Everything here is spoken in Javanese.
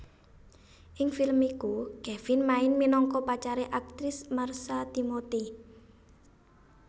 Ing film iku Kevin main minangka pacare aktris Marsha Timothy